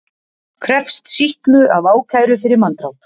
Krefst sýknu af ákæru fyrir manndráp